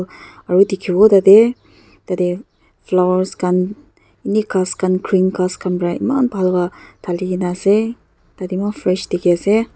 aru dikhibo tah teh tah teh flowers khan ene ghass khan green ghass khan para eman bhal para thali ke na ase tha teh eman fresh dikhi ase.